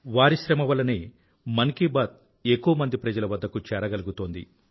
వారి శ్రమ వల్లనే మన్ కీ బాత్ ఎక్కువ మంది ప్రజల వద్దకు చేరగలుగుతోంది